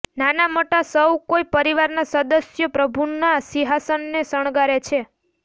નાના મોટા સૌ કોઈ પરિવારના સદસ્યો પ્રભુના સિંહાસનને શણગારે છે